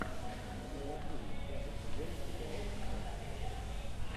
правосудие пятый сезон эпизод шестнадцать